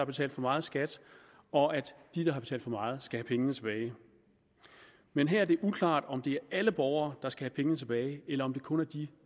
betalt for meget skat og at de der har betalt for meget skal have pengene tilbage men her er det uklart om det er alle borgere der skal have pengene tilbage eller om det kun er de